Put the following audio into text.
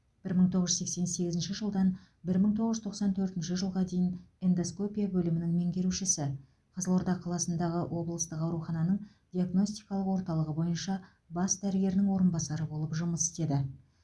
бір мың тоғыз жүз сексен сегізінші жылдан бір мың тоғыз жүз тоқсан төртінші жылға дейін эндоскопия бөлімінің меңгерушісі қызылорда қаласындағы облыстық аурухананың диагностикалық орталығы бойынша бас дәрігерінің орынбасары болып жұмыс істеді